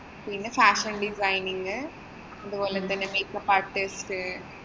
പിന്നെ fashion designing അതുപോലെ തന്നെ make up artist